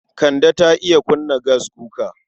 Kande ta iya kunna gaskuka.